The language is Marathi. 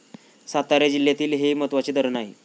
सातारा जिल्ह्यातील हे महत्वाचे धरण आहे.